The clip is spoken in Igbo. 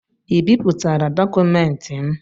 Ị bipụtara dọkụmentị m?